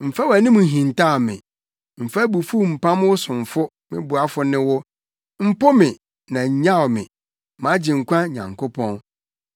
Mfa wʼanim nhintaw me, mfa abufuw mpam wo somfo me boafo ne wo. Mpo me, na nnyaw me, mʼAgyenkwa Nyankopɔn.